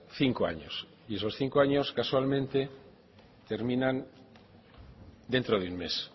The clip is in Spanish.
cinco años y esos cinco años casualmente terminan dentro de un mes